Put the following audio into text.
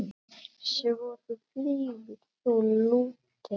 Svo þú fylgir þá Lúter?